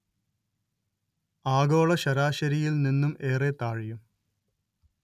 ആഗോള ശരാശരിയിൽ നിന്നും ഏറെ താഴെയും